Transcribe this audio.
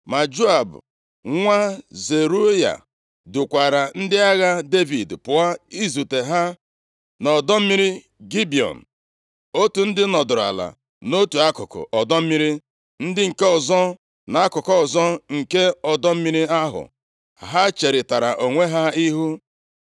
Ma Joab, + 2:13 Dịka Abna, ọchịagha Sọl, bụ nwa nwanne nna ya \+xt 1Sa 2:8\+xt* Otu a ka Joab, ọchịagha Devid, Abishai na Asahel dị nye Devid. Ha bụ ụmụ nwanne ya nwanyị. nwa Zeruaya dukwaara ndị agha Devid pụọ izute ha nʼọdọ mmiri Gibiọn. Otu ndị nọdụrụ ala nʼotu akụkụ ọdọ mmiri, ndị nke ọzọ nʼakụkụ ọzọ nke ọdọ mmiri ahụ. Ha cherịtara onwe ha ihu.